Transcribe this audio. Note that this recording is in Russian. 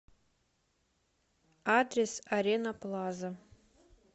адрес арена плаза